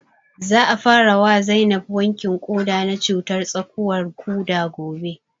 Za a fara wa Zainab wankin ƙoda na cutar tsakuwar ƙuda gobe